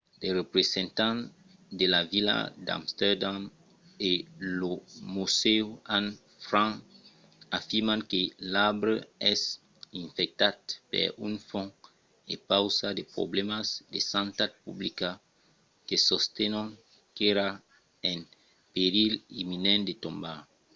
de representants de la vila d'amsterdam e lo musèu anne frank afirman que l'arbre es infectat per un fong e pausa de problèmas de santat publica que sostenon qu'èra en perilh imminent de tombar